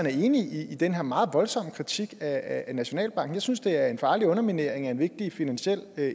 er enig i den her meget voldsomme kritik af nationalbanken jeg synes det er en farlig underminering af en vigtig finansiel